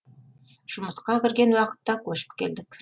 жұмысқа кірген уақытта көшіп келдік